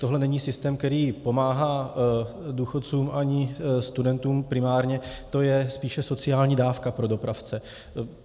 Tohle není systém, který pomáhá důchodcům ani studentům primárně, to je spíše sociální dávka pro dopravce.